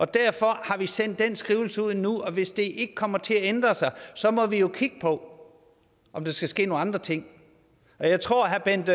derfor har vi sendt den skrivelse ud nu og hvis det ikke kommer til at ændre sig sig må vi jo kigge på om der skal ske nogle andre ting jeg tror at herre bent